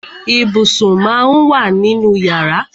Ibùsùn má ń wà nínú yàrá.